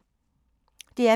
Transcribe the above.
DR P2